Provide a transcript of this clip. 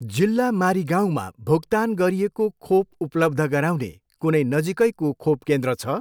जिल्ला मारिगाउँमा भुक्तान गरिएको खोप उपलब्ध गराउने कुनै नजिकैको खोप केन्द्र छ?